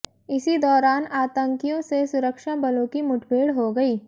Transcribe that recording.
इसी दौरान आतंकियों से सुरक्षा बलों की मुठभेड़ हो गई